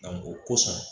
o kosɔn